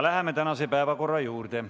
Läheme tänase päevakorra juurde.